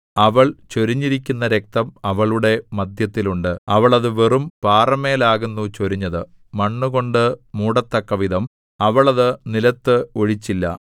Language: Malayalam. അവൾ ചൊരിഞ്ഞിരിക്കുന്ന രക്തം അവളുടെ മദ്ധ്യത്തിൽ ഉണ്ട് അവൾ അത് വെറും പാറമേലാകുന്നു ചൊരിഞ്ഞത് മണ്ണുകൊണ്ടു മൂടത്തക്കവിധം അവൾ അത് നിലത്ത് ഒഴിച്ചില്ല